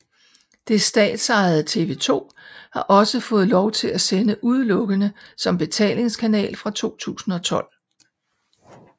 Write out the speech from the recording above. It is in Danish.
Det statsejede TV 2 har også fået lov til at sende udelukkende som betalingskanal fra 2012